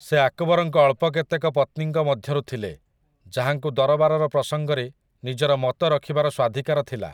ସେ ଆକବରଙ୍କ ଅଳ୍ପ କେତେକ ପତ୍ନୀଙ୍କ ମଧ୍ୟରୁ ଥିଲେ, ଯାହାଙ୍କୁ ଦରବାରର ପ୍ରସଙ୍ଗରେ ନିଜର ମତ ରଖିବାର ସ୍ୱାଧିକାର ଥିଲା ।